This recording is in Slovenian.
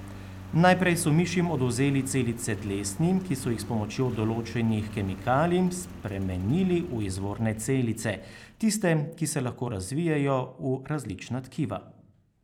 Najprej so mišim odvzeli celice dlesni, ki so jih s pomočjo določenih kemikalij spremenili v izvorne celice, tiste, ki se lahko razvijejo v različna tkiva.